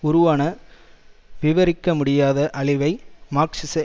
உருவான விவரிக்க முடியாத அழிவை மார்க்சிச